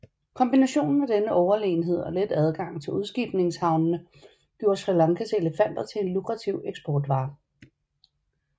Kombinationen af denne overlegenhed og let adgang til udskibningshavne gjorde Sri Lankas elefanter til en lukrativ eksportvare